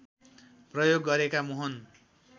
प्रयोग गरेका मोहन